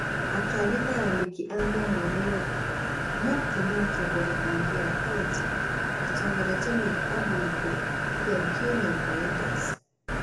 Akiaria na andĩki a mohoro Nairobi, Muktar na atongoria angĩ a kauntĩ matongoretio nĩ ambunge Adan Keynan wa Eldas,